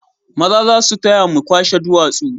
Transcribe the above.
Maza za su taya mu kwashe duwatsu